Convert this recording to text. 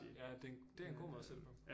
Ja det en det en god måde at se det på